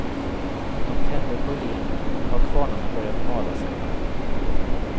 De tände på idén och nu har kvarnarna börjat mala, säger han.